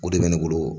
O de bɛ ne bolo